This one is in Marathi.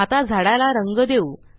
आता झाडाला रंग देऊ